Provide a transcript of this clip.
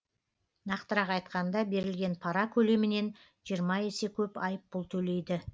нақтырақ айтқанда берілген пара көлемінен жиырма есе көп айыппұл төлейді